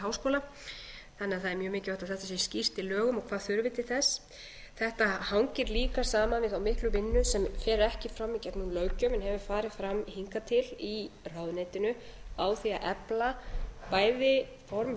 háskóla þannig að það er mjög mikilvægt að þetta sé skýrt í lögum og hvað þurfi til þess þetta hangir líka saman við þá miklu vinnu sem fer ekki fram í gegnum löggjöf en hefur farið fram hingað til í ráðuneytinu á því að efla bæði formaður